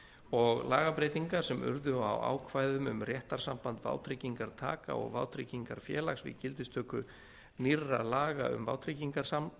og lagabreytingar sem urðu á ákvæðum um réttarsamband vátryggingartaka og vátryggingafélags við gildistöku nýrra laga um